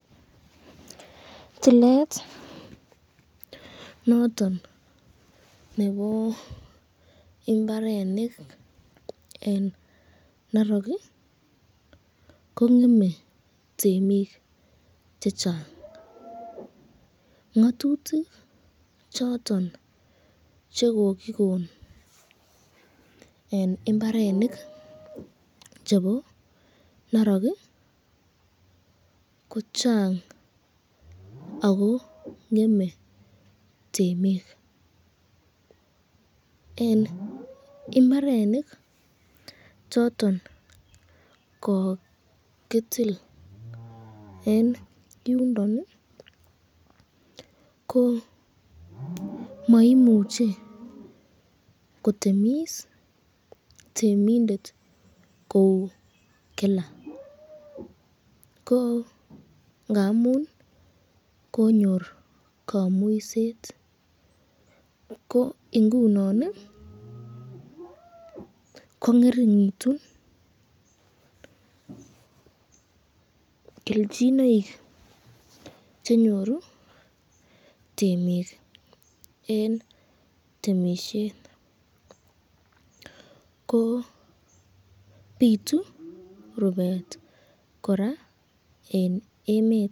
Toilet noton nebo imbarenik eng narok ko ngeme temik chechang, ngatutik choton chekokikon eng imbarenik chebo narok ko Chang ako ngeme temik, eng imbarenik choton kokitil eng yundon, ko maimuche kotemis temindet kou Kila, ko ngamun konyor kamuiset ko ingunon ko ngrleringitun kelchinoik chenyoru temik eng temisyet, ko bitu rubet koraa eng emet.